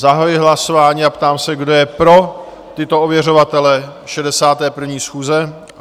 Zahajuji hlasování a ptám se, kdo je pro tyto ověřovatele 61. schůze?